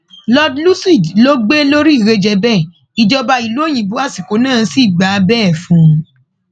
lord lúcid ló gbé e lórí ìrẹjẹ bẹẹ ìjọba ìlú òyìnbó àsìkò náà sì gbà bẹẹ fún un